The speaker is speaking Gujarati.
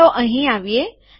તો ચાલો અહીં આવીએ